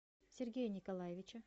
сергея николаевича